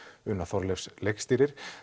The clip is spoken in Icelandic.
una Þorleifs leikstýrir